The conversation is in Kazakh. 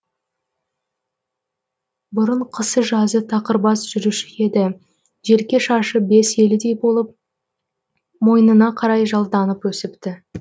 бұрын қысы жазы тақырбас жүруші еді желке шашы бес елідей болып мойнына қарай жалданып өсіпті